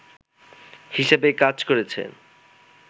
হিসেবে কাজ করেছেন